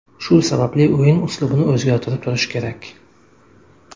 Shu sababli o‘yin uslubini o‘zgartirib turish kerak.